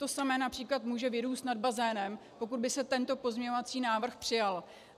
To samé například může vyrůst nad bazénem, pokud by se tento pozměňovací návrh přijal.